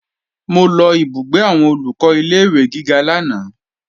Mo lọ ìbúgbé àwọn Olùkọ́ ilé-ìwé gíga lánàá